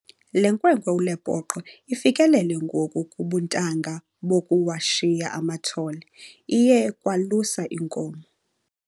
Le nkwenkwe uLepoqo ifikelele ngoku kubuntanga bokuwashiya amathole, iye kwalusa iinkomo.